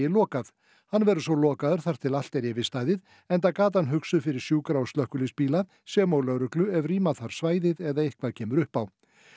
lokað hann verður svo lokaður þar til allt er yfirstaðið enda gatan hugsuð fyrir sjúkra og slökkviliðsbíla sem og lögreglu ef rýma þarf svæðið eða eitthvað kemur upp á